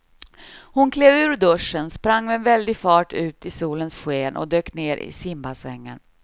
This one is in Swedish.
Hon klev ur duschen, sprang med väldig fart ut i solens sken och dök ner i simbassängen.